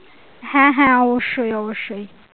হ্যাঁ হ্যাঁ অবশ্যই অবশ্যই।